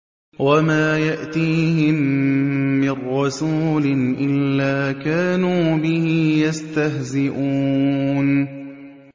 وَمَا يَأْتِيهِم مِّن رَّسُولٍ إِلَّا كَانُوا بِهِ يَسْتَهْزِئُونَ